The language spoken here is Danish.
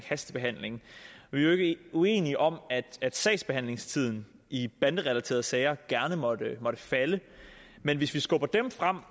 hastebehandling vi er jo ikke uenige om at sagsbehandlingstiden i banderelaterede sager gerne måtte falde men hvis vi skubber dem frem